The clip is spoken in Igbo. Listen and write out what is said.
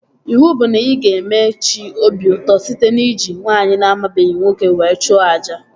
Iwu bụ na ị ga-eme chi obi ụtọ site n'iji nwaanyị na amabeghị nwoke were chụọ àjà!